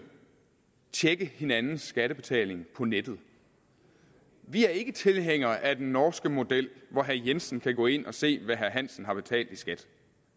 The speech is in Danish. tjekke hinandens skattebetaling på nettet vi er ikke tilhængere af den norske model hvor herre jensen kan gå ind og se hvad herre hansen har betalt i skat